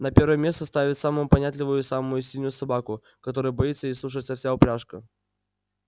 на первое место ставят самую понятливую и самую сильную собаку которой боится и слушается вся упряжка